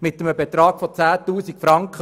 Es geht um 10 000 Franken.